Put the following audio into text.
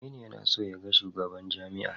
Aminu yana so ya ga shugaban jami'ar.